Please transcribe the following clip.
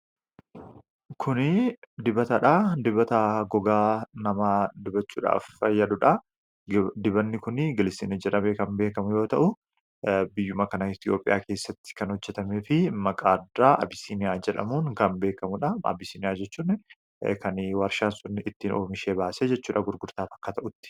kuni dibataa dha. dibataa gogaa namaa dibachuudhaaf fayyadudha dibanni kuni gilisiinii jedhamee kan beekamuu yoo ta'u biyyuma kana Itiyoophiyaa keessatti kan hojjetamee fi maqaa addaa abisiiniyaa jedhamuun kan beekamuudha abisiiniyaa jechuun kan warshaan sunni ittiin oomishee baasee jechuudha gurgurtaaf akka ta'utti.